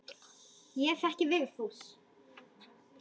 Ég þekki Vigfús.